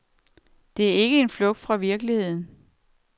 Det er ikke en flugt fra virkeligheden.